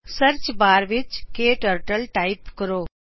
search bar ਵਿੱਚ ਕਟਰਟਲ type ਕਰੋ